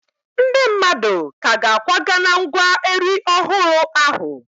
Ndị mmadụ ka ga-akwaga na ngwa Eri ọhụrụ ahụ.